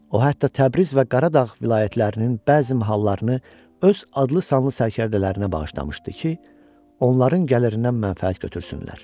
O hətta Təbriz və Qaradağ vilayətlərinin bəzi mahalllarını öz adlı-sanlı sərkərdələrinə bağışlamışdı ki, onların gəlirindən mənfəət götürsünlər.